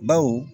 Baw